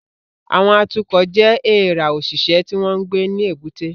Àwọn atukọ̀ jẹ́ èèrà òṣìṣẹ́ tí wọ́n ń gbé ní èbúté